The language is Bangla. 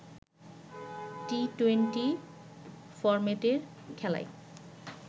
টি-টোয়েন্টি ফরম্যাটের খেলায়